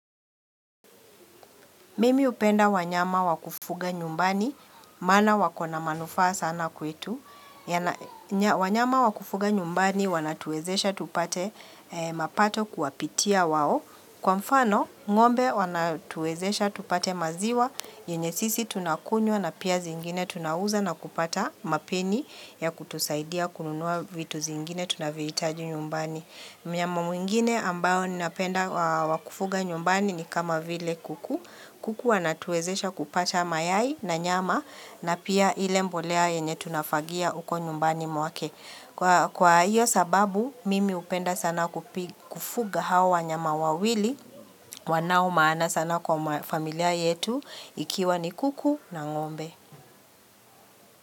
Mimi upenda wanyama wakufuga nyumbani, maana wakona manufaa sana kwetu, wanyama wakufuga nyumbani wanatuwezesha tupate mapato kuapitia wao, kwa mfano ng'ombe wanatuezesha tupate maziwa, yenye sisi tunakunywa na pia zingine tunauza na kupata mapeni ya kutusaidia kununua vitu zingine tunavyoitaji nyumbani. Mnyama mwingine ambao ni napenda wakufuga nyumbani ni kama vile kuku. Kuku wanatuwezesha kupata mayai na nyama na pia ile mbolea yenye tunafagia uko nyumbani mwake. Kwa hiyo sababu mimi upenda sana kufuga hawa nyama wawili wanao maana sana kwa familia yetu ikiwa ni kuku na ngombe.